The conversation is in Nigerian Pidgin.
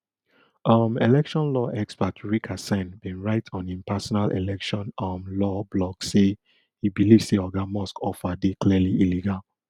um election law expert rick hasen bin write on im personal election um law blog say e believe say oga musk offer dey clearly illegal